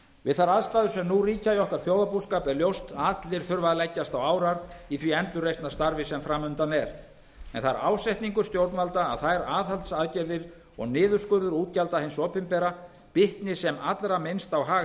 við þær aðstæður sem nú ríkja í okkar þjóðarbúskap er ljóst að allir þurfa að leggjast á árar í því endurreisnarstarfi sem fram undan er það er ásetningur stjórnvalda að þær aðhaldsaðgerðir og niðurskurður útgjalda hins opinbera bitni sem allra minnst á hag